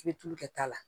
I bɛ tulu kɛ ta la